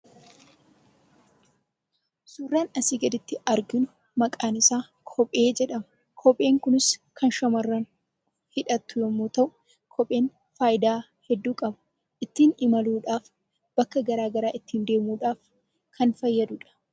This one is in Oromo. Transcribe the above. Suuraan asii gaditti arginu maqaan isaa kophee jedhama. Kopheen Kunis kan shamarran hidhattu yemmuu ta'u, kopheen faayidaa hedduu qaba. Ittiin imaluudhaaf, iddoo adda addaa deemuudhaaf fayyada.